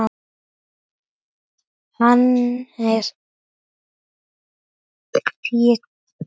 Hannes Pétur.